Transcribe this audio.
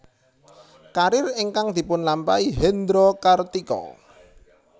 Karir ingkang dipunlampahi Hendro Kartiko